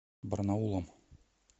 барнаулом